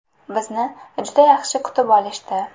Bizni juda yaxshi kutib olishdi.